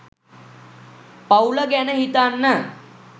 පවුල ගැන හිතන්න